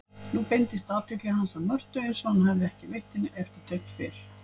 Richard enda kæmi hvort sem væri yfirumsjónin í hans hlut meðan baróninn dveldist ytra.